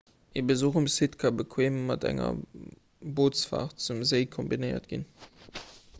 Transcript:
e besuch um site ka bequeem mat enger bootsfaart zum séi kombinéiert ginn